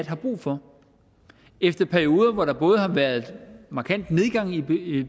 har brug for efter perioder hvor der både har været markant nedgang i